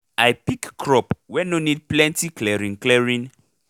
i pick crop wey nor need plenty clearing clearing